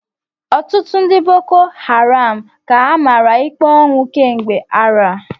Ọtụtụ ndị bokoharam ka a mara ikpe ọnwụ kemgbe arọ a.